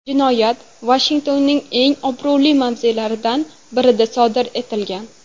Jinoyat Vashingtonning eng obro‘li mavzelaridan birida sodir etilgan.